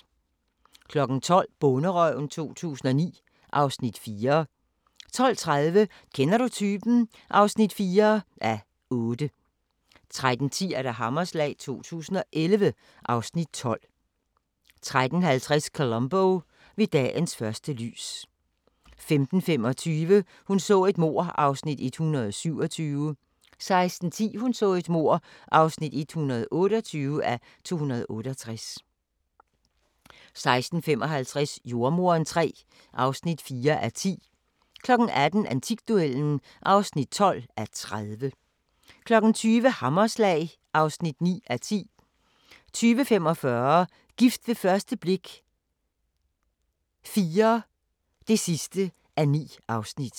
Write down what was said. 12:00: Bonderøven 2009 (Afs. 4) 12:30: Kender du typen? (4:8) 13:10: Hammerslag 2011 (Afs. 12) 13:50: Columbo: Ved dagens første lys 15:25: Hun så et mord (127:268) 16:10: Hun så et mord (128:268) 16:55: Jordemoderen III (4:10) 18:00: Antikduellen (12:30) 20:00: Hammerslag (9:10) 20:45: Gift ved første blik – IV (9:9)